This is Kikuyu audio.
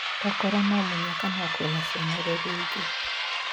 Tokorwo no mũnyaka no kwĩna cionereria ingĩ.